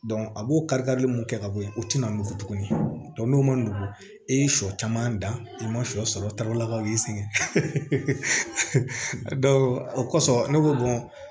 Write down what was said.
a b'o kari karili mun kɛ ka bɔ yen o tina mun fɔ tuguni n'o man nɔgɔn i ye sɔ caman dan i ma sɔ sɔrɔ tala ka y'i sɛgɛn a don o kɔsɔn ne ko